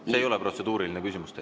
See ei ole protseduuriline küsimus teil.